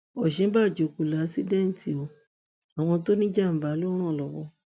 ọ̀ṣínbàjò kò láṣìńdẹtì o àwọn tó níjàńbá ló ràn lọwọ